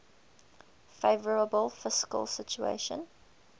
favourable fiscal situation